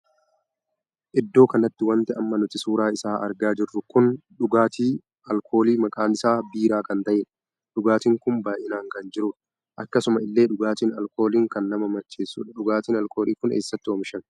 Iddoo kanatti wanti amma nuti suuraa isaa argaa jirru kun dhugaatii alkoolii maqaan isaa biiraa kan tahedha. dhugaatiinnkun baay'inaan kan jirudha. akkasuma illee dhugaatiin alkooliin kan nama macheessudha. dhugaatiin alkoolii kun eessatti oomishamee?